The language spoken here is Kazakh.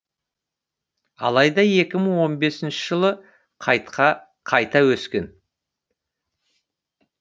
алайда екі мың он бесінші жылы қайта өскен